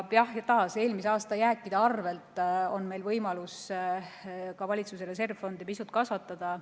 Ja taas, eelmise aasta jääkide arvelt on meil võimalus ka valitsuse reservfondi pisut kasvatada.